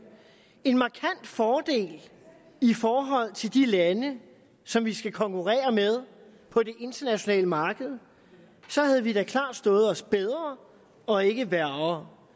en markant fordel i forhold til de lande som vi skal konkurrere med på det internationale marked så havde vi da klart stået os bedre og ikke værre